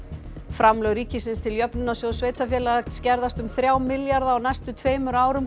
framlög ríkisins til Jöfnunarsjóðs sveitarfélaga skerðast um þrjá milljarða á næstu tveimur árum